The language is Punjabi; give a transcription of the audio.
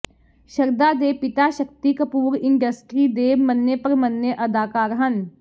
ਸ਼ਰਧਾ ਦੇ ਪਿਤਾ ਸ਼ਕਤੀ ਕਪੂਰ ਇੰਡਸਟਰੀ ਦੇ ਮੰਨੇ ਪ੍ਰਮੰਨੇ ਅਦਾਕਾਰ ਹਨ